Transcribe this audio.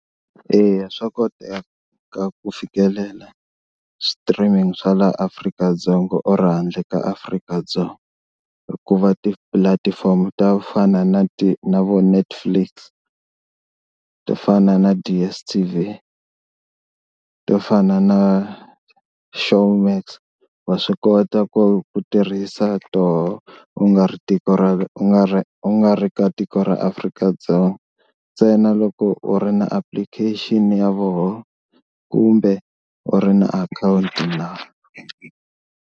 Eya swa koteka ku fikelela streaming swa laha Afrika-Dzonga or handle ka Afrika-Dzonga hikuva tipulatifomo to fana na na vo Netflix to fana na DSTV, to fana na Showmax wa swi kota ku tirhisa tona u nga ri tiko ra u nga ri u nga ri ka tiko ra Afrika-Dzonga ntsena loko u ri na application ya vona kumbe u ri na akhawunti.